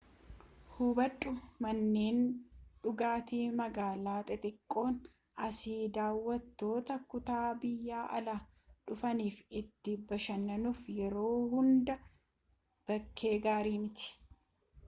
hubadhu manneen dhugaatii magaalaa xixiqqoon asii daawwattoota kutaa-biyyaa alaa dhufaniif itti bashannanuuf yeroo hundaa bakkee gaari miti